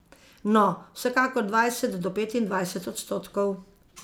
No, vsekakor dvajset do petindvajset odstotkov.